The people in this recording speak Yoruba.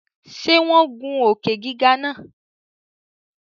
Ṣe wọn gùn òkè-gígà náà?